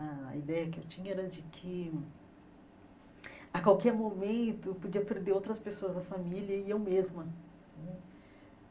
A ideia que eu tinha era de que a qualquer momento eu podia perder outras pessoas da família e eu mesma né.